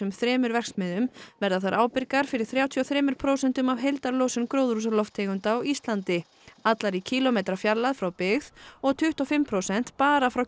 þremur verksmiðjum verða þær ábyrgar fyrir þrjátíu og þremur prósentum af heildarlosun gróðurhúsalofttegunda á Íslandi allar í kílómetra fjarlægð frá byggð og tuttugu og fimm prósent bara frá